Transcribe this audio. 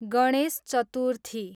Ganesh Chaturthi